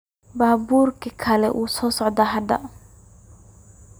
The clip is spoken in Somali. Baburka kal uu socta hada.